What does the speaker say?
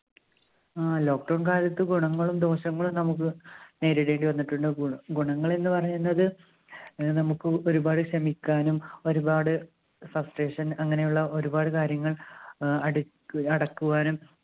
ആ lockdown കാലത്ത് ഗുണങ്ങളും ദോഷങ്ങളും നമ്മുക്ക് നേരിടേണ്ടി വന്നിട്ടുണ്ട് ഗുണ ഗുണങ്ങളെന്ന് പറയുന്നത് ഏർ നമ്മുക്ക് ഒരുപാട് ക്ഷമിക്കാനും ഒരുപാട് frustration അങ്ങനെയുള്ള ഒരുപാട് കാര്യങ്ങൾ ഏർ അടിക്ക് അടക്കുവാനും